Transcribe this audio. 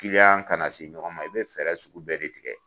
ka na se ɲɔgɔn ma, i bi fɛɛrɛ sugu bɛɛ de tigɛ